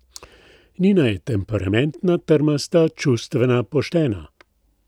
Nina je temperamentna, trmasta, čustvena, poštena ...